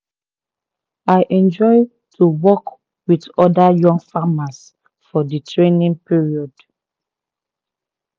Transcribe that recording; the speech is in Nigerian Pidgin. i enjoy to work with other young farmers for the training period